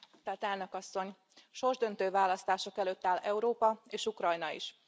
Tisztelt Elnök Asszony! Sorsdöntő választások előtt áll Európa és Ukrajna is.